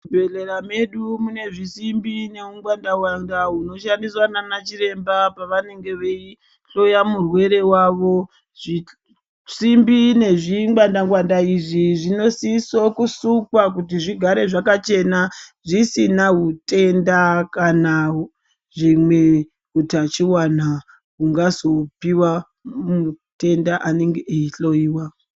Muzvibhehlera medu mune husimbi neungwanda ngwanda hunoshandiswa nana chiremba pavanenge veihloya murwere wavo. Zvisimbi nezvingwanda ngwanda izvi zvinosisa kusimwa kuti zvigare zvakachena zvisina zvitenda kana hutachiwana hungazopiwa mutenda anenge achihloiwa.